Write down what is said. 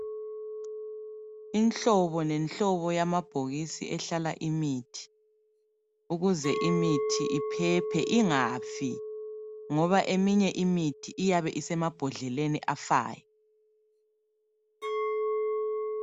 Inhlobo nenhlobo yamabhokisi ehlala imithi ukuze imithi iphephe ingafi, ngoba eminye imithi iyabe isemabhodleleni afayo.